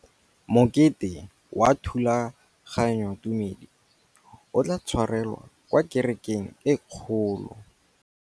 Mokete wa thulaganyôtumêdi o tla tshwarelwa kwa kerekeng e kgolo.